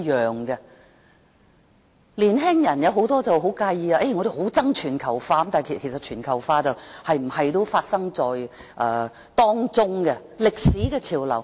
許多年輕人很介意，表示討厭全球化，其實全球化怎樣也會發生，是歷史的潮流。